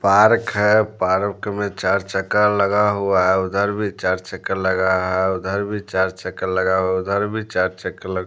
park है park में चार चक्कर लगा हुआ है उधर भी चार चक्कर लगा हुआ है उधर भी चार चक्कर लगा है उधर भी चार चक्कर लग--